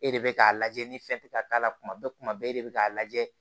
E de bɛ k'a lajɛ ni fɛn tɛ ka k'a la kuma bɛɛ kuma bɛɛ e de bɛ k'a lajɛ